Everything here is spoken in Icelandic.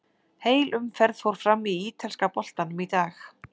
Heil umferð fór fram í ítalska boltanum í dag.